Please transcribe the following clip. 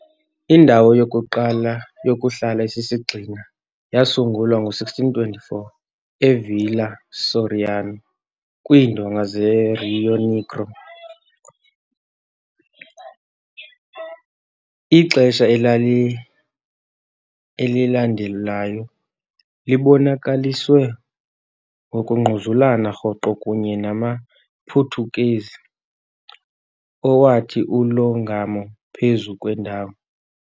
Indawo yokuqala yokuhlala esisigxina yasungulwa ngo-1624 e- Villa Soriano, kwiindonga zeRio Negro. Ixesha elali elilandelayo libonakaliswe ngokungquzulana rhoqo kunye namaPhuthukezi, owathi ulongamo phezu kwendawo.